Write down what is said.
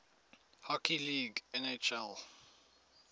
hockey league nhl